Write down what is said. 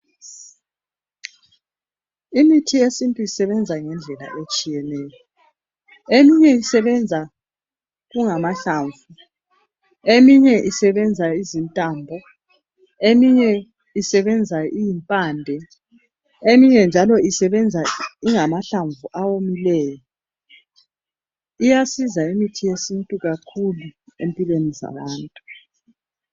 Imithi yesintu isebenza ngendlela etshiyeneyo. Eminye isibenza kungamahlamvu, eminye isebenza izintambo, eminye isebenza iyimpande, eminye njalo isebenza ingamahlamvu awomileyo. Iyasiza imithi yesintu kakhulu empilweni zabantu.